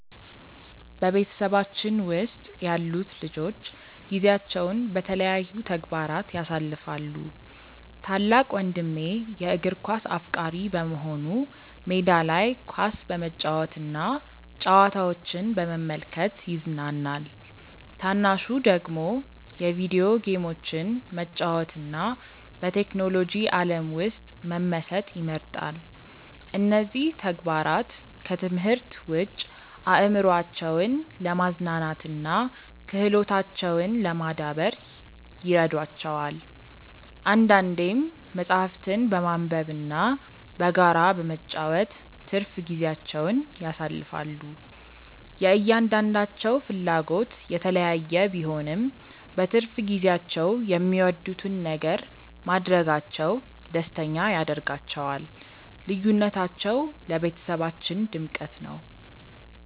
በቤተሰባችን ውስጥ ያሉት ልጆች ጊዜያቸውን በተለያዩ ተግባራት ያሳልፋሉ። ታላቅ ወንድሜ የእግር ኳስ አፍቃሪ በመሆኑ ሜዳ ላይ ኳስ በመጫወትና ጨዋታዎችን በመመልከት ይዝናናል። ታናሹ ደግሞ የቪዲዮ ጌሞችን መጫወትና በቴክኖሎጂ ዓለም ውስጥ መመሰጥ ይመርጣል። እነዚህ ተግባራት ከትምህርት ውጭ አእምሯቸውን ለማዝናናትና ክህሎታቸውን ለማዳበር ይረዷቸዋል። አንዳንዴም መጽሐፍትን በማንበብና በጋራ በመጫወት ትርፍ ጊዜያቸውን ያሳልፋሉ። የእያንዳንዳቸው ፍላጎት የተለያየ ቢሆንም፣ በትርፍ ጊዜያቸው የሚወዱትን ነገር ማድረጋቸው ደስተኛ ያደርጋቸዋል። ልዩነታቸው ለቤተሰባችን ድምቀት ነው።